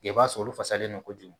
I b'a sɔrɔ olu fasalen no kojugu